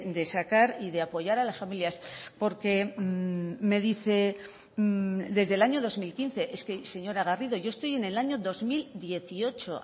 de sacar y de apoyar a las familias porque me dice desde el año dos mil quince es que señora garrido yo estoy en el año dos mil dieciocho